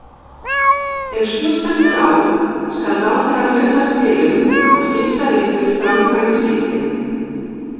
Ef svo stendur á skal ráðherra hlutast til um að skiptaréttur framkvæmi skiptin.